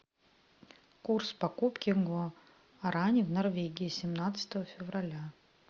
курс покупки гуарани в норвегии семнадцатого февраля